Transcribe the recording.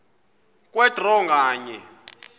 kwe draw nganye